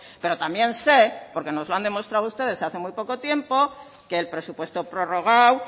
pero también sé porque nos lo han demostrado ustedes hace muy poco tiempo que el presupuesto prorrogado